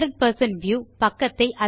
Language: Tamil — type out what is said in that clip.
100 வியூ